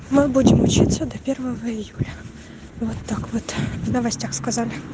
мы будем учится до первого июля вот так вот в новостях сказали